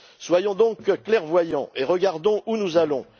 Soyons donc clairvoyants et regardons où nous allons.